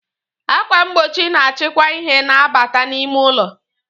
Akwà mgbochi na-achịkwa ìhè na-abata n'ime ụlọ